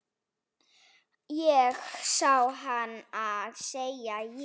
Ég sá hana, segi ég.